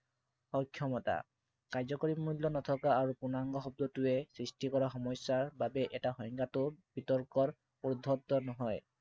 অক্ষমতা। কাৰ্যকৰী মূল্য় নথকা আৰু পূৰ্ণাংগ শব্দটোৱে সৃষ্টি কৰা সমস্য়াৰ বাবে এই সংজ্ঞাটো বিতৰ্কৰ উৰ্ধ্বত নহয়।